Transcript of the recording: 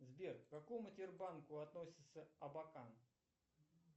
сбер к какому тербанку относится абакан